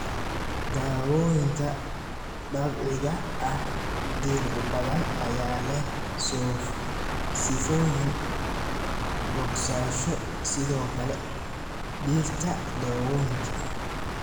Daawooyinka Dabiiciga ah Dhir badan ayaa leh sifooyin bogsasho, sidoo kale dhirta dawooyinka.